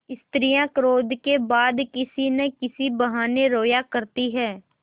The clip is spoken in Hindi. स्त्रियॉँ क्रोध के बाद किसी न किसी बहाने रोया करती हैं